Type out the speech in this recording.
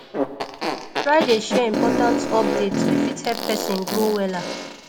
try dey share important update wey fit help pesin grow wella